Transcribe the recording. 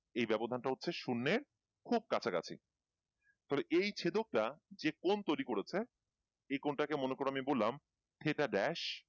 এই ব্যবধান তা হচ্ছে শুন্যের খুব কাছা কাছী ফলে এই ছেদকটা যে কোন তৈরি করেছে যে কোন টা কে মনে করো আমি বললাম